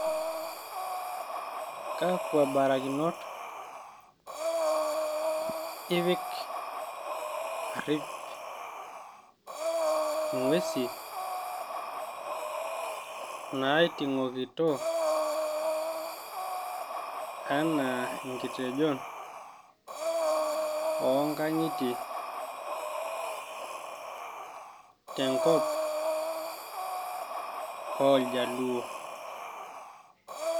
Kakwa barakinot ipik arrip ing'uesi naiting'ito ,enaa inkitenjon oonkang'itie tenkop oljaluo?